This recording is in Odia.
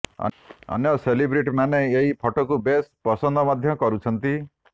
ଅନ୍ୟ ସେଲିବ୍ରିଟିମାନେ ଏହି ଫଟୋକୁ ବେଶ୍ ପସନ୍ଦ ମଧ୍ୟ କରୁଛନ୍ତି